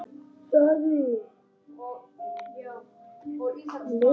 Það er tabú.